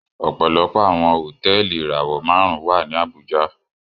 Ọpọlọpọ awọn hotẹẹli irawọ márùn wà ní Abuja